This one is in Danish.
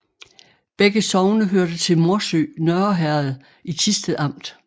Begge sogne hørte til Morsø Nørre Herred i Thisted Amt